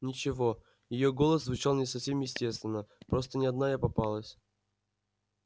ничего её голос звучал не совсем естественно просто не одна я попалась